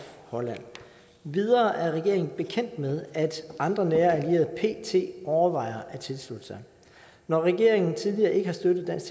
holland endvidere er regeringen bekendt med at andre nære allierede pt overvejer at tilslutte sig når regeringen tidligere ikke har støttet en